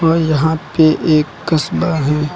और यहां पे एक कस्बा हैं।